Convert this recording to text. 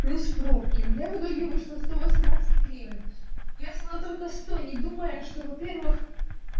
плюс пробки у меня в итоге вышло сто восемнадцать гривен я взяла только сто не думая что во-первых